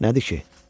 Nədir ki?